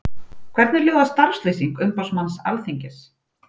Hvernig hljóðar starfslýsing umboðsmanns Alþingis?